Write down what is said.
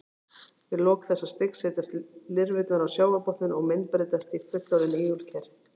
Við lok þessa stigs setjast lirfurnar á sjávarbotninn og myndbreytast í fullorðin ígulker.